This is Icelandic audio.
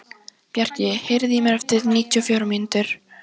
Bjarki, heyrðu í mér eftir níutíu og fjórar mínútur.